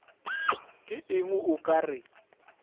ke eng o ka re